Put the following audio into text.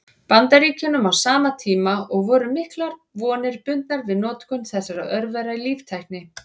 Bandaríkjunum á sama tíma, og voru miklar vonir bundnar við notkun þessara örvera í líftækni.